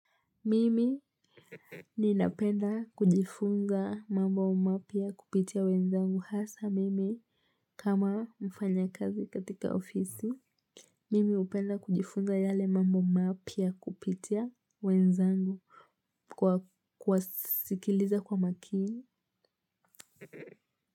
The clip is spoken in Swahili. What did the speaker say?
Mimi ninapenda kujifunza mambo mapya kupitia wenzangu hasa mimi kama mfanya kazi katika ofisi. Mimi upenda kujifunga yale mambo mapia kupitia wenzangu kuwasikiliza kwa makini.